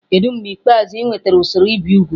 Kedu mgbe ikpeazụ ị nwetara usoro ibi úgwù?